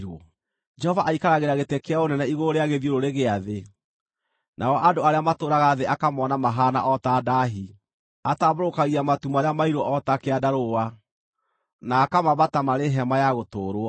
Jehova aikaragĩra gĩtĩ kĩa ũnene igũrũ rĩa gĩthiũrũrĩ gĩa thĩ, nao andũ arĩa matũũraga thĩ akamoona mahaana o ta ndaahi. Atambũrũkagia matu marĩa mairũ o ta kĩandarũa, na akamaamba ta marĩ hema ya gũtũũrwo.